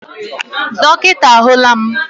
Dọkịta ahụla m.